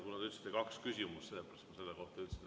Kuna te esitasite kaks küsimust, siis selle kohta ma ütlesin.